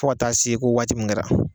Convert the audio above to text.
Fɔ ka se ko waati min kɛra